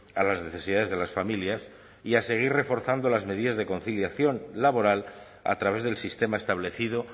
a las necesidades de las familias y a seguir reforzando las medidas de conciliación laboral a través del sistema establecido